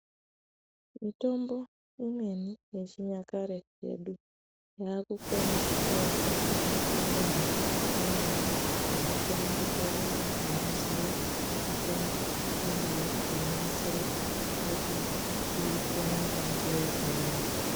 Mutombo imweni yechinyakare yedu yakukone kutorwa ngemakhambani amweni anokone kutore vanthu vanoziye mitombo yechindau kuonasira kuti iite inga ngeyechiyungu.